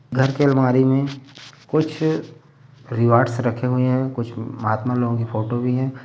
घर की अलमारी में कुछ रिवार्ड्स रखे हुए है। कुछ महात्मा लोगों फोटो भी है।